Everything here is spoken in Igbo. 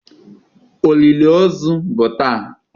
Olili ozu bụ taa.